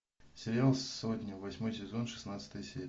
сериал сотня восьмой сезон шестнадцатая серия